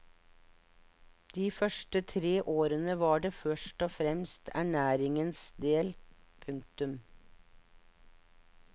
De første tre årene var det først og fremst for ernæringens del. punktum